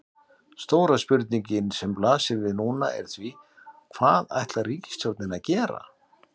Stóra spurningin sem blasir núna er því, hvað ætlar ríkisstjórnin að gera?